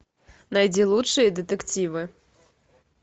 найди лучшие детективы